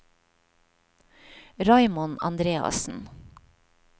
Raymond Andreassen